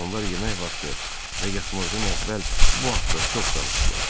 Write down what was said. Onlar yemək vaxtı və yatmazdan əvvəl bu haqda çox danışdılar.